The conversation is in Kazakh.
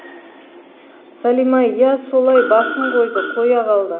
салима иә солай басым қойды қоя қалды